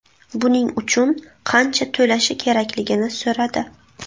Buning uchun qancha to‘lashi kerakligini so‘radi.